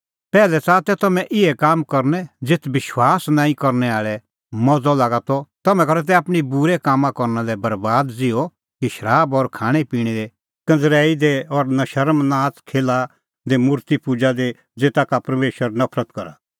पैहलै च़ाहा तै तम्हैं इहै काम करनै ज़ेथ विश्वास नांईं करनै आल़ै मज़अ लागा त तम्हैं करा तै आपणीं ज़िन्दगी बूरै काम करना लै बरैबाद ज़िहअ कि शराब और खाणैं पिणैं दी कंज़रैई दी और नशर्म नाच़खेल्हा दी और मुर्ति पूज़ा दी ज़ेता का परमेशर नफरत करा